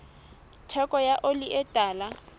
theko ya oli e tala